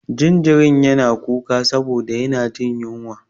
Jaririn yana kuka saboda yana jin ƴunwa.